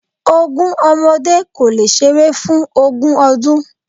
Ogún ọmọdé kò lè ṣeré fún ogún ọdún.